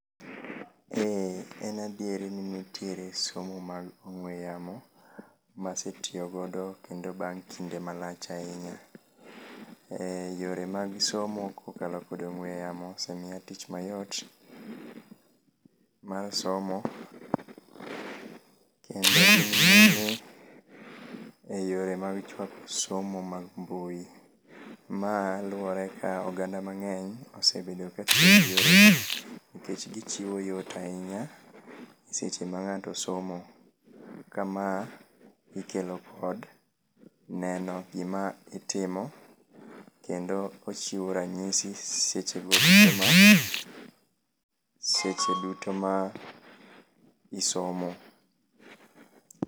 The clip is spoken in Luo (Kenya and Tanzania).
Ee, en adieri ni nitiere somo mag ong'we yamo masetiyo godo kendo bang' kinde malach ahinya. Yore mag somo kokalo kod ong'we yamo osemiya tich mayot mar somo, kendo gingin ni e yore mag chwako somo mag mbui. Ma luwore ka oganda mang'eny osebedo ka tiyo gi yore gi nikech gichiwo yot ahinya seche ma ng'ato somo. Ka ma ikelo kod neno gima itimo, kendo ochiwo ranyisi seche go duto ma, seche duto ma isomo.